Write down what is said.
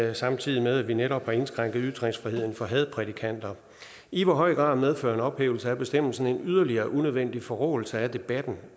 er samtidig med at vi netop har indskrænket ytringsfriheden for hadprædikanter i hvor høj grad medfører en ophævelse af bestemmelsen en yderligere unødvendig forråelse af debatten